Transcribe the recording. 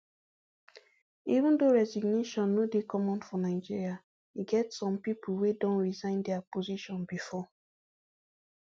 even though resignation no dey common for nigeria e get some pipo wey don resign dia position bifor